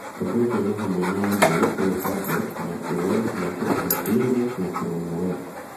Ũndũ ũcio nĩ hamwe na Android (o tableti), macOS, Microsoft Windows, na ChromeOS.